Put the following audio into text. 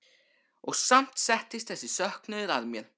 Og samt settist þessi söknuður að mér.